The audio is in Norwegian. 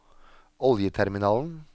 oljeterminalen